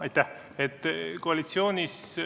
Aitäh!